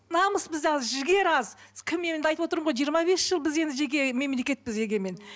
намыс бізде аз жігер аз кім енді айтып отырмын ғой жиырма бес жыл біз енді жеке мемлекетпіз егемен